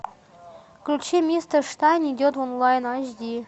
включи мистер штайн идет в онлайн аш ди